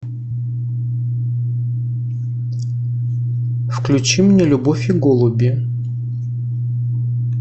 включи мне любовь и голуби